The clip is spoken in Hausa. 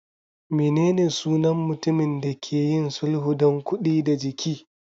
Menene sunan mutumin da ke yin sulhu don kuɗi da jiki?